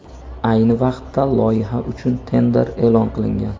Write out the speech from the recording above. Ayni vaqtda loyiha uchun tender e’lon qilingan.